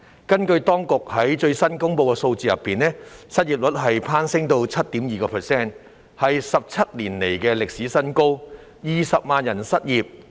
根據當局最新公布的數字，失業率攀升至 7.2%， 是17年來的歷史新高 ，20 萬人失業。